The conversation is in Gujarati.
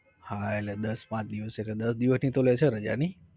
હા એટલે દસ પાંચ દિવસ એટલે દસ દિવસ ની તો લેશે ને રજા નઇ?